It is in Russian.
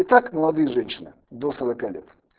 итак молодые женщины до сорока лет